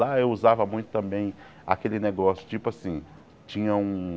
Lá eu usava muito também aquele negócio, tipo assim, tinha um...